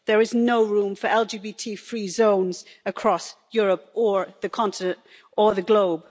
There is no room for LGBT free zones across Europe or the continent or the globe.